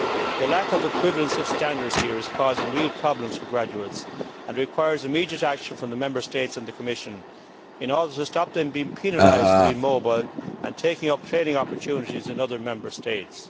The lack of equivalence of standards here is causing real problems for graduates and requires immediate action from the Member States and the Commission in order to stop them being penalised for being mobile and taking up training opportunities in other Member States.